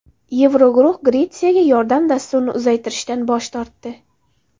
Yevroguruh Gretsiyaga yordam dasturini uzaytirishdan bosh tortdi.